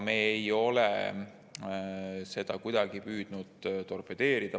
Me ei ole mitte kuidagi püüdnud seda torpedeerida.